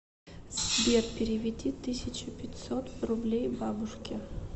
сбер переведи тысяча пятьсот рублей бабушке